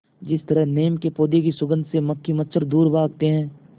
जिस तरह नीम के पौधे की सुगंध से मक्खी मच्छर दूर भागते हैं